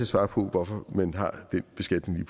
svare på hvorfor man har den beskatning